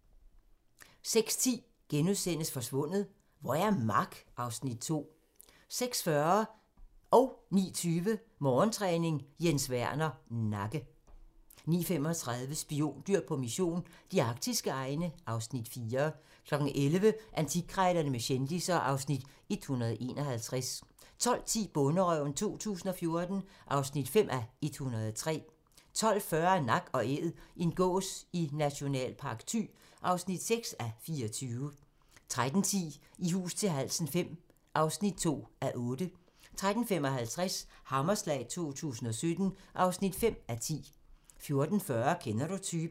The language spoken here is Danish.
06:10: Forsvundet - hvor er Mark? (Afs. 2)* 06:40: Morgentræning: Jens Werner - nakke 09:20: Morgentræning: Jens Werner - nakke 09:35: Spiondyr på mission - de arktiske egne (Afs. 4) 11:00: Antikkrejlerne med kendisser (Afs. 151) 12:10: Bonderøven 2014 (5:103) 12:40: Nak & Æd - en gås i Nationalpark Thy (6:24) 13:10: I hus til halsen V (2:8) 13:55: Hammerslag 2017 (5:10) 14:40: Kender du typen?